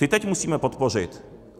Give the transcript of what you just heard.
Ty teď musíme podpořit.